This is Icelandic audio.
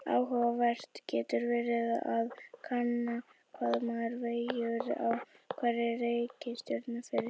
Áhugavert getur verið að kanna hvað maður vegur á hverri reikistjörnu fyrir sig.